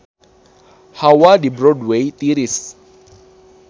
Hawa di Broadway tiris